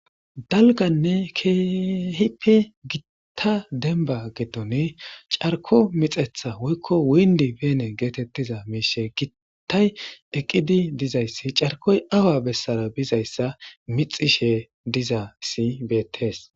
Daalganne kehippe giita giidida dembba giidon carkko mixxetha giittay eqqidi dizayssi carkkoy awa bessara bizayssa mixxishe dizaysi bettes.